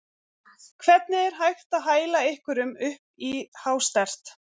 Hvernig er hægt að hæla einhverjum upp í hástert?